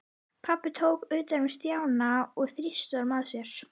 Pabbi tók utan um Stjána og þrýsti honum að sér.